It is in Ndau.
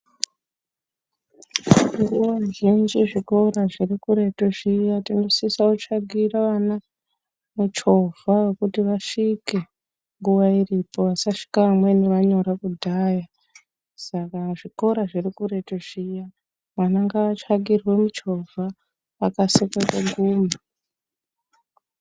Nguwa zhinji zvikora zviri kuretu zviya tinosisa kutsvakira vana michovha yekuti vasvike nguwa iripo. Vasasvika amweni vanyora kudhaya, saka zvikora zviri kuretu zviya, vana ngavatsvakirwe michovha vakasike kuguma.